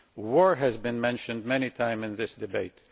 War has been mentioned many times in this debate.